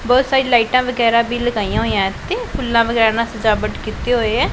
ਬਹੁਤ ਸਾਰੀ ਲਾਈਟਾਂ ਵਗੈਰਾ ਵੀ ਲਗਾਈਆਂ ਹੋਇਆਂ ਇੱਥੇ ਫੁੱਲਾਂ ਵਗੈਰਾ ਨਾਲ ਸਜਾਵਟ ਕੀਤੀ ਹੋਈ ਹੈ।